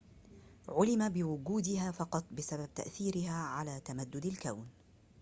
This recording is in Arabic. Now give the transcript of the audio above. عُلم بوجودها فقط بسبب تأثيرها على تمدد الكون